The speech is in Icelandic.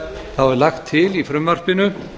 þá er lagt til í frumvarpinu